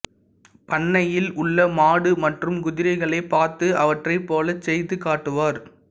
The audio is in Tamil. பண்ணையில் உள்ள மாடு மற்றும் குதிரைகளைப் பார்த்து அவற்றைப் போலச் செய்து காட்டுவார்